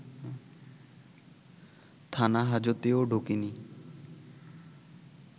থানাহাজতেও ঢোকেনি